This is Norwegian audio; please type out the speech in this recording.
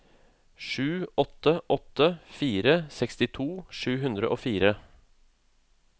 sju åtte åtte fire sekstito sju hundre og fire